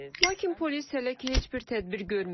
Lakin polis hələ ki, heç bir tədbir görməyib.